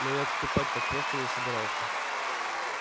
но и отступать так просто не собирался